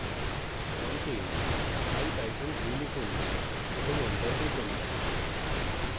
prompt ipython3 লিখুন এবং enter টিপুন